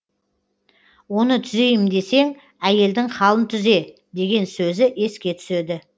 оны түзейім десең әйелдің халін түзе деген сөзі еске түседі